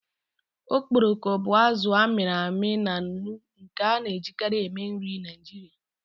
Okporoko bụ azụ a mịrị amị na nnu nke a na-ejikarị eme nri Naijiria.